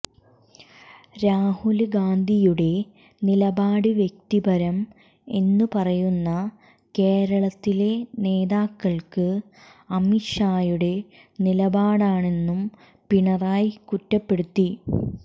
രാഹുല് ഗാന്ധിയുടെ നിലപാട് വ്യക്തിപരം എന്നു പറയുന്ന കേരളത്തിലെ നേതാക്കള്ക്ക് അമിത് ഷായുടെ നിലപാടാണെന്നും പിണറായി കുറ്റപ്പെടുത്തി